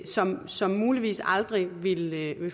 som som muligvis aldrig ville have